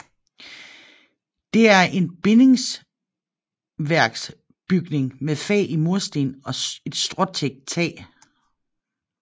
Det er en bindingsværksbygning med fag i mursten og et stråtækt tag